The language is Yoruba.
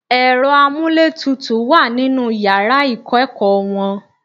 Ẹ̀rọ amúlétutù wà nínú yàrá ìkọ́-ẹ̀kọ́ wọn.